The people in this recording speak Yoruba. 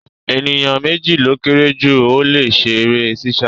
Ènìyàn méjì ló kéré jù tí ó le ṣe eré sísá